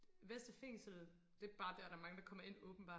Vestre fængsel det er bare der der er mange der kommer ind åbenbart